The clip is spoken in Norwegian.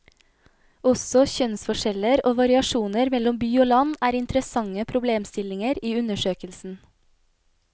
Også kjønnsforskjeller og variasjoner mellom by og land er interessante problemstillinger i undersøkelsen.